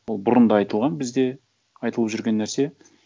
ол бұрын да айтылған бізде айтылып жүрген нәрсе